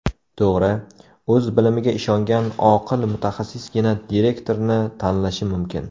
To‘g‘ri, o‘z bilimiga ishongan oqil mutaxassisgina direktorni tanlashi mumkin.